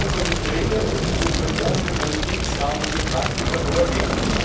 Die Kommission sollte dringend ihren versprochenen Qualitätsrahmen für Praktika vorlegen.